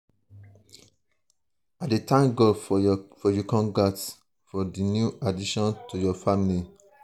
i dey thank god for you congrats for di new addition to your family.